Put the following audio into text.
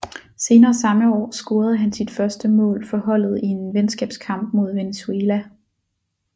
Senere samme år scorede han sit første mål for holdet i en venskabskamp mod Venezuela